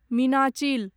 Meenachil